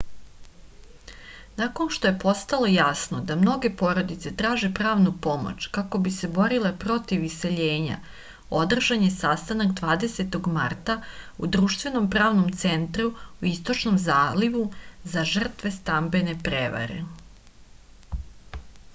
nakon što je postalo jasno da mnoge porodice traže pravnu pomoć kako bi se borile protiv iseljenja održan je sastanak 20. marta u društvenom pravnom centru u istočnom zalivu za žrtve stambene prevare